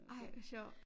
Ej hvor sjovt